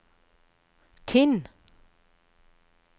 Tinn